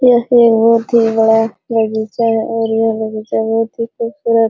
यहां पर बहुत ही बड़ा बगीचा है और यह बगीचा बहुत ही खूबसूरत।